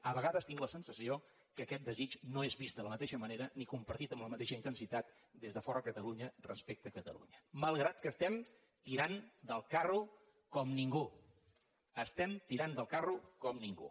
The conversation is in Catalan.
a vegades tinc la sensació que aquest desig no és vist de la mateixa manera ni compartit amb la mateixa intensitat des de fora de catalunya respecte a catalunya malgrat que estem tirant del carro com ningú estem tirant del carro com ningú